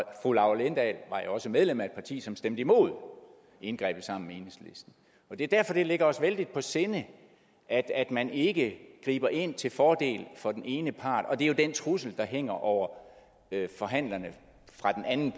fru laura lindahl var jo også medlem af et parti som stemte imod indgrebet sammen med enhedslisten det er derfor det ligger os vældigt på sinde at at man ikke griber ind til fordel for den ene part og det er jo den trussel der hænger over forhandlerne fra den anden